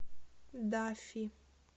даффи